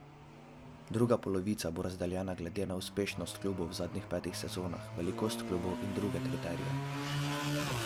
Druga polovica bo razdeljena glede na uspešnost klubov v zadnjih petih sezonah, velikost klubov in druge kriterije.